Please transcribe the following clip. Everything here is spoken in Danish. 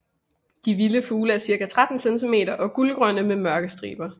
De vilde fugle er cirka 13 cm og gulgrønne med mørke striber